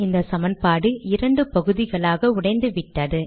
இந்த சமன்பாடு இரண்டு பாகுதிகளாக உடைந்துவிட்டது